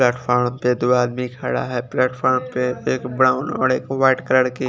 plate form दो आदमी खड़ा है प्लेट फ्रॉम पे एक ब्राउन और एक वाईट कलर कि--